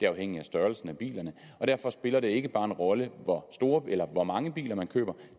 afhængigt af størrelsen på bilerne og derfor spiller det ikke bare en rolle hvor store eller hvor mange biler man køber